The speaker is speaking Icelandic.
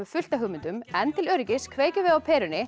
fullt af hugmyndum en til öryggis kveikjum við á perunni